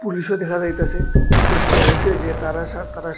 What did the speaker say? পুলিশও দেখা যাইতাসে কিছু একটা হইছে যে তারা সা তারা সা--